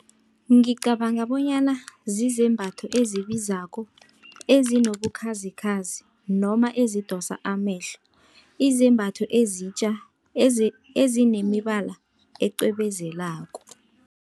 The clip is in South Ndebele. Ngicabanga bonyana zizembatho ezibizako ezinye enobukhazikhazi noma ezidosa amehlo. Izembatho ezitja ezinemibala ecwebezelako.